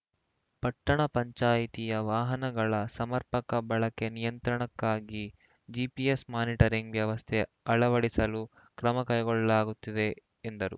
ಪಟ್ಟಣ ಪಂಚಾಯಿತಿಯ ವಾಹನಗಳ ಸಮರ್ಪಕ ಬಳಕೆ ನಿಯಂತ್ರಣಕ್ಕಾಗಿ ಜಿಪಿಎಸ್‌ ಮಾನಿಟರಿಂಗ್‌ ವ್ಯವಸ್ಥೆ ಅಳವಡಿಸಲು ಕ್ರಮ ಕೈಗೊಳ್ಳಲಾಗುತ್ತಿದೆ ಎಂದರು